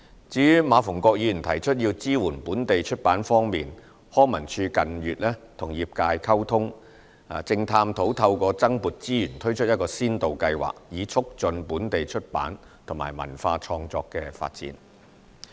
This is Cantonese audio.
至於馬逢國議員提出要支援本地出版業，康文署近月與業界溝通，正探討透過增撥資源，推出一個先導計劃，以促進本地出版及文化創作發展。